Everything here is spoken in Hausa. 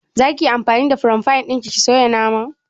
Za ki yi anfani da fire fan ɗin ki soya naman?